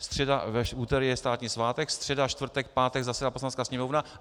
V úterý je státní svátek, středa, čtvrtek, pátek - zasedá Poslanecká sněmovna.